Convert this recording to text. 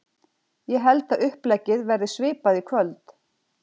Ég held að uppleggið verði svipað í kvöld.